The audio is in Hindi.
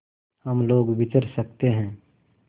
हम लोग विचर सकते हैं